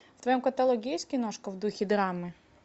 в твоем каталоге есть киношка в духе драмы